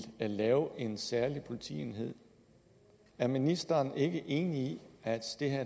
lave en særlig politienhed er ministeren ikke enig i at